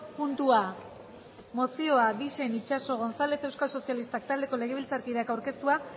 puntua mozioa bixen itxaso gonzález euskal sozialistak taldeko legebiltzarkideak aurkeztua